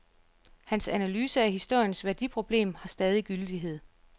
Hans analyse af historiens værdiproblem har stadig gyldighed.